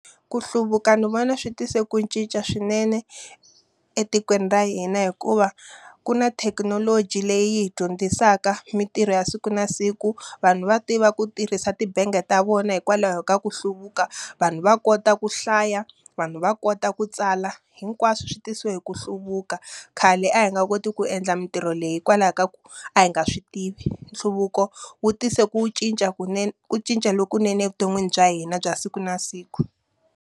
Ku hluvuka ni vona swi tise ku cinca swinene etikweni ra hina hikuva, ku na thekinoloji leyi hi dyondzisaka mintirho ya siku na siku. Vanhu va tiva ku tirhisa tibangi ta vona hikwalaho ka ku hluvuka. Vanhu va kota ku hlaya, vanhu va kota ku tsala, hinkwaswo swi tisiwe hi ku hluvuka. Khale a hi nga koti ku endla mintirho leyi hikwalaho ka ku a hi nga swi tivi. Nhluvuko wu tise ku cinca ku cinca lokunene evuton'wini bya hina bya siku na siku.